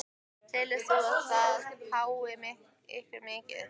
Telur þú að það hái ykkur mikið?